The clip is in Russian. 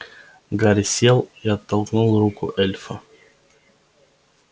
гарри сел и оттолкнул руку эльфа